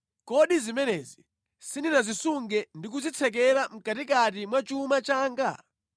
“Kodi zimenezi sindinazisunge ndi kuzitsekera mʼkatikati mwa chuma changa?